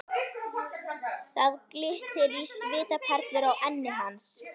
Það glittir á svitaperlur á enni hans.